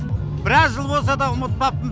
біраз жыл болса да ұмытпаппын